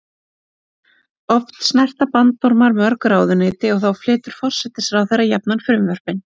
Oft snerta bandormar mörg ráðuneyti og þá flytur forsætisráðherra jafnan frumvörpin.